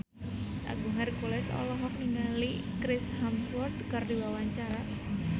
Agung Hercules olohok ningali Chris Hemsworth keur diwawancara